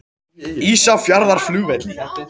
Ísafjarðarflugvelli